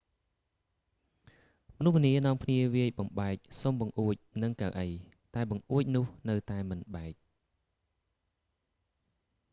មនុស្សម្នានាំគ្នាវាយបំបែកស៊ុមបង្អួចនឹងកៅអី តែបង្អួចនោះនៅតែមិនបែក